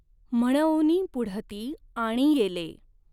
म्हणउनि पुढती आणियेलें।